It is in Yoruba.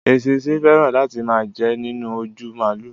Èṣìsín fẹran láti máa jẹ nínú òjú málù.